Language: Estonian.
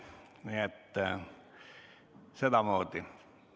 Nii et sedamoodi.